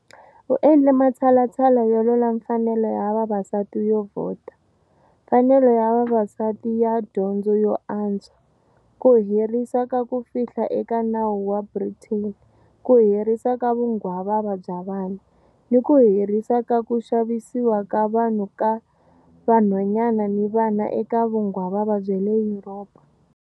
U endle matshalatshala yo lwela mfanelo ya vavasati yo vhota, mfanelo ya vavasati ya dyondzo yo antswa, ku herisa ka ku fihla eka nawu wa Britain, ku herisiwa ka vunghwavava bya vana, ni ku herisiwa ka ku xavisiwa ka vanhu ka vanhwanyana ni vana eka vunghwavava bya le Yuropa.